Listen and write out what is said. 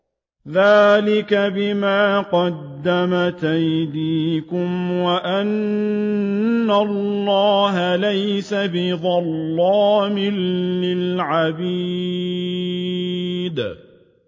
ذَٰلِكَ بِمَا قَدَّمَتْ أَيْدِيكُمْ وَأَنَّ اللَّهَ لَيْسَ بِظَلَّامٍ لِّلْعَبِيدِ